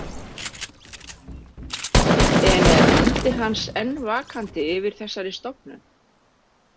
En er andi hans enn vakandi yfir þessari stofnun?